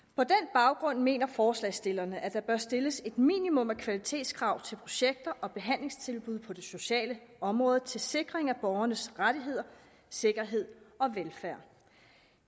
baggrund mener forslagsstillerne at der bør stilles et minimum af kvalitetskrav til projekter og behandlingstilbud på det sociale område til sikring af borgernes rettigheder sikkerhed og velfærd